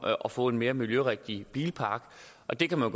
at få en mere miljørigtig bilpark og det kan man